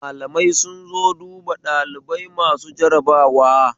Malamai sun zo duba ɗalibai masu jarabawa